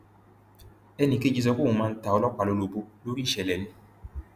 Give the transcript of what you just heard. ẹnì kejì sọ pé òun máa ń ta ọlọpàá lólobó lórí ìṣẹlẹ ni